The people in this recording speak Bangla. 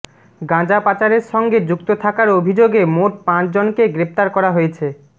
গাঁজা পাচারের সঙ্গে যুক্ত থাকার অভিযোগে মোট পাঁচ জনকে গ্রেফতার করা হয়েছে